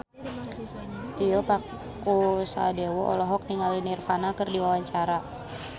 Tio Pakusadewo olohok ningali Nirvana keur diwawancara